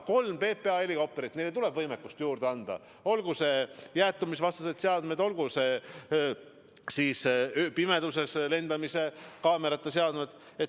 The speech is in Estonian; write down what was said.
Meil on kolm PPA helikopterit, neile tuleb võimekust juurde anda, olgu need jäätumisvastased seadmed, olgu need ööpimeduses lendamise kaamerate seadmed.